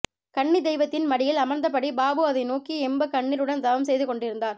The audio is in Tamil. கன்னித்தெய்வத்தின் மடியில் அமர்ந்தபடி பாபு அதை நோக்கி எம்ப கண்ணீருடன் தவம்செய்து கொண்டிருந்தார்